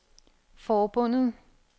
forbundet